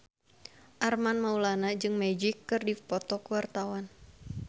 Armand Maulana jeung Magic keur dipoto ku wartawan